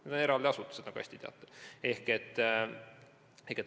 Need on eraldi asutused, nagu te hästi teate.